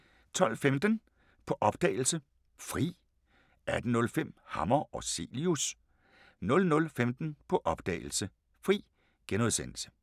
12:15: På opdagelse – Fri 18:05: Hammer og Cilius 00:15: På opdagelse – Fri *